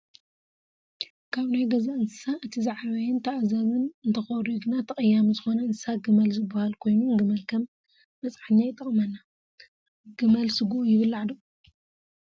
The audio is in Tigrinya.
ካብ ናይ ገዛ እንስሳ እቲ ዝዓበየን ተኣዛዚን እንተኮርዩ ግና ተቀያሚ ዝኮነ እንስሳ ግመል ዝበሃል ኮይኑ ግመል ከም መፅዐኛ ይጠቅመና::ግመል ስግኡ ይብላዕ ዶ ?